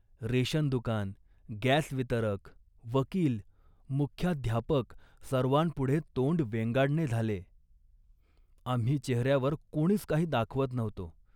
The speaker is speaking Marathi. रेशनदुकान, गॅस वितरक, वकील, मुख्याध्यापक सर्वांपुढे तोंड वेंगाडणे झाले. आम्ही चेहऱ्यावर कोणीच काही दाखवत नव्हतो